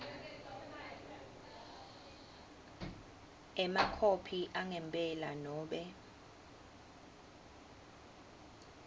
emakhophi angempela nobe